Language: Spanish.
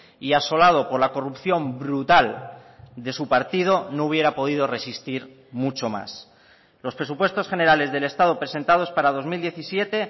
y asolado por la corrupción brutal de su partido no hubiera podido resistir mucho más los presupuestos generales del estado presentados para dos mil diecisiete